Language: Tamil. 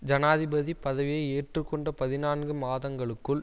ஜனாதிபதி பதவியை ஏற்றுக்கொண்ட பதினான்கு மாதங்களுக்குள்